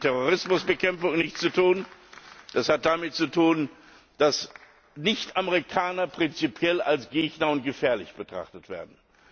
Das hat mit Terrorismusbekämpfung nichts zu tun, das hat damit zu tun, dass Nichtamerikaner prinzipiell als Gegner und als gefährlich betrachtet werden.